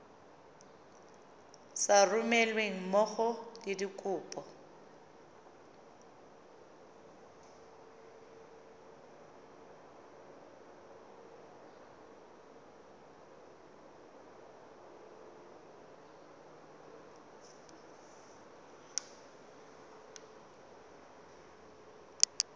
sa romelweng mmogo le dikopo